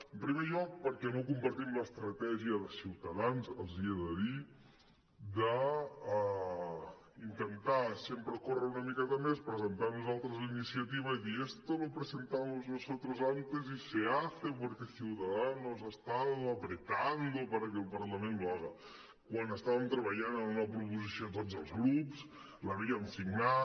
en pri·mer lloc perquè no compartim l’estratègia de ciutadans els hi he de dir d’inten·tar sempre córrer una miqueta més presentar nosaltres la iniciativa i dir esto lo presentamos nosotros antes y se hace porque ciudadanos ha estado apretando para que el parlament lo haga quan estàvem treballant en una proposició tots els grups l’havíem signat